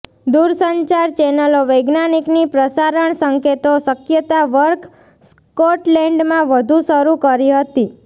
દૂરસંચાર ચેનલો વૈજ્ઞાનિક ની પ્રસારણ સંકેતો શક્યતા વર્ક સ્કોટલેન્ડમાં વધુ શરૂ કરી હતી